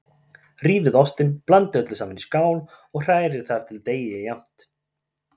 Rífið ostinn, blandið öllu saman í skál og hrærið þar til deigið er jafnt.